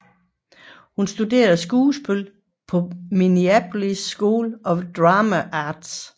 Hun studerede skuespil på Minneapolis School of Dramatic Arts